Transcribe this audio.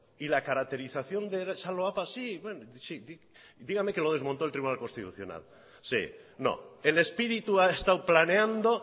y la caracterización de esa loapa sí bueno sí dígame que lo desmonto el tribunal constitucional sí no el espíritu ha estado planeando